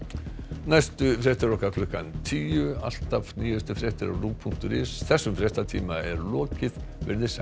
næstu fréttir okkar klukkan tíu alltaf nýjustu fréttir á punktur is þessum fréttatíma lýkur hér veriði sæl